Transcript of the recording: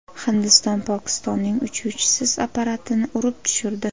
Hindiston Pokistonning uchuvchisiz apparatini urib tushirdi.